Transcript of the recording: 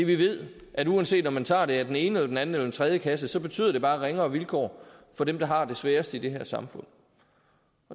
vi ved at uanset om man tager det af den ene den anden eller den tredje kasse så betyder det bare ringere vilkår for dem der har det sværest i det her samfund